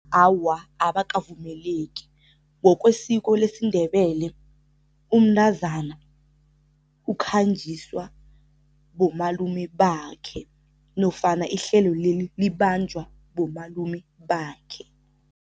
Awa, abakavumeleki. Ngokwesiko lesiNdebele umntazana ukhanjiswa bomalume bakhe nofana ihlelo leli libanjwa bomalume bakhe.